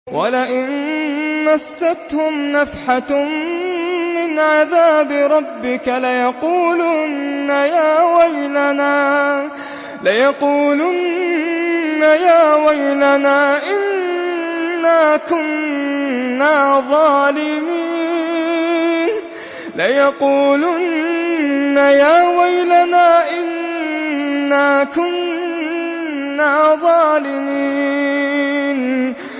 وَلَئِن مَّسَّتْهُمْ نَفْحَةٌ مِّنْ عَذَابِ رَبِّكَ لَيَقُولُنَّ يَا وَيْلَنَا إِنَّا كُنَّا ظَالِمِينَ